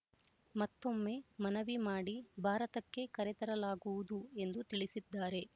ಮತ್ತೊಮ್ಮೆ ಮನವಿ ಮಾಡಿ ಭಾರತಕ್ಕೆ ಕರೆತರಲಾಗುವುದು ಎಂದು ತಿಳಿಸಿದ್ದಾರೆ